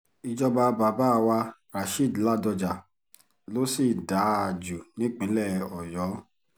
ìjọba bàbá wa rasheed ladoja ló sì dáa jù nípìnlẹ̀ ọ̀yọ́